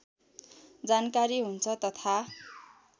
जानकारी हुन्छ तथा